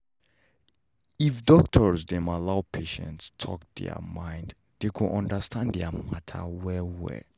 if doctors dem allow patients talk their mind them go understand their matter well well